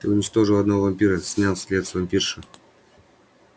ты уничтожил одного вампира снял след с вампирши